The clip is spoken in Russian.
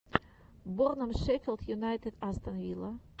борном шеффилд юнайтед астон вилла